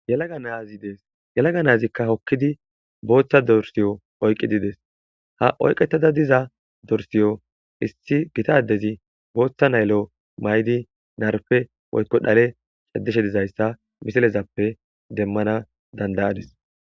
Yelaga nazi des yelaga nazika hokidi botha dorsiyo oykidi des oyqetada diza dorisiyo issi gitta adezi botha layilo mayudi narpe woykon dhale cadishe dizaysa ha misilezappe demana dandayadis